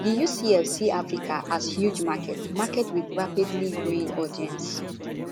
di ufc see africa as huge market market wit rapidly growing audience